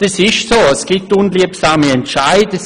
Das stimmt, es gibt unliebsame Entscheide.